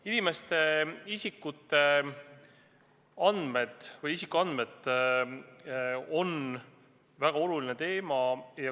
Inimeste isikuandmed on väga oluline teema.